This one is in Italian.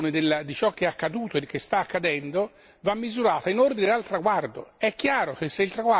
Allora, la valutazione di ciò che è accaduto e che sta accadendo va misurata in ordine al traguardo.